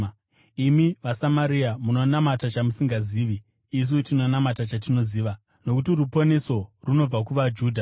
Imi vaSamaria munonamata chamusingazivi; isu tinonamata chatinoziva, nokuti ruponeso runobva kuvaJudha.